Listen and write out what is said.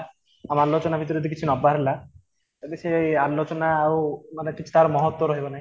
ଆମ ଆଲୋଚନା ଭିତରେ କିଛି ନବାର ହେଲା ତେବେ ସିଏ ଆଲୋଚନା ଆଉ ମାନେ କିଛି ତାର ମହତ୍ଵ ରହିବନାହିଁ